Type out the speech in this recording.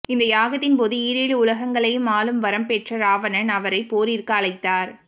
இந்த யாகத்தின் போது ஈரேழு உலகங்களையும் ஆளும் வரம் பெற்ற இராவணன் அவரை போரிற்கு அழைத்தார்